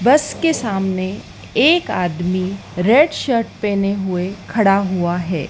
बस के सामने एक आदमी रेड शर्ट पहने हुए खड़ा हुआ है।